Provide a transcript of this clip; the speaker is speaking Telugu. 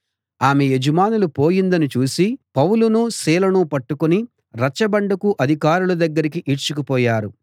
ఆమె యజమానులు ఆమె యజమానులు పోయిందని చూసి పౌలునూ సీలనూ పట్టుకొని రచ్చబండకు అధికారుల దగ్గరికి ఈడ్చుకు పోయారు